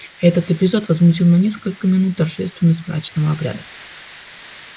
этот эпизод возмутил на несколько минут торжественность мрачного обряда